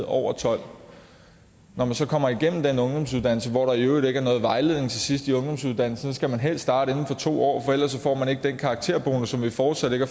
over tolvte når man så kommer igennem den ungdomsuddannelse hvor der i øvrigt ikke er noget vejledning til sidst i ungdomsuddannelsen skal man helst starte inden for to år for ellers får man ikke den karakterbonus som vi fortsat ikke